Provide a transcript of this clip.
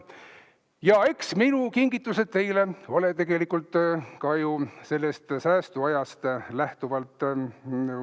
Ja eks minu kingitused teile ole tegelikult ka mõeldud sellest säästuajast lähtuvalt.